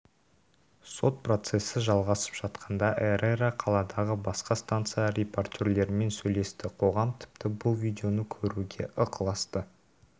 сот процесі жалғасып жатқанда эррера қаладағы басқа станция репортерлерімен сөйлесті қоғам тіпті бұл видеоны көруге ықыласты